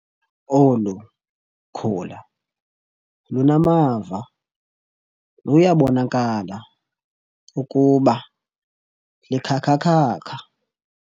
Olu khula lunamava luyabonakala ukuba likhakhakhakha.